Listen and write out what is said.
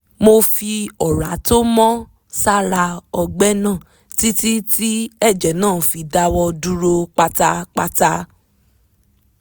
mo fi ọ̀rá tó mọ́ sára ọgbẹ́ náà títí tí ẹ̀jẹ̀ náà fi dáwọ́ dúró pátápátá